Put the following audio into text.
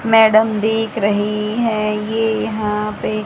madam दिख रही है ये यहां पे--